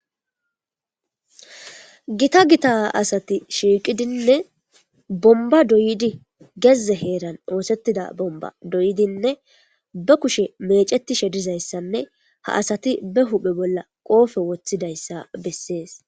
gita gita asati shiiqidinne bomba doydi gezze heeran oosettida bomba doyidinne be kushe mecetishe dizayssanne ha asati be huphe bolla qoofe woththidayssa bessees